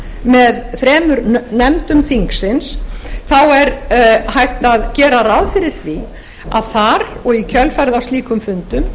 með þremur nefndum þingsins þá er hægt að gera ráð fyrir því að þar og í kjölfarið á slíkum fundum